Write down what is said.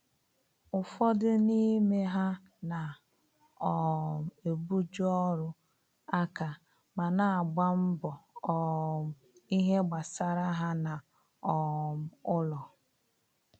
ụfọdụ n'ime ha na um ebu ju ọrụ aka ma na agba mbọ um ìhè gbasara ha na um ụlọ